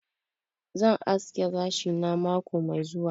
Zan haski gashi na mako Mai zuwa.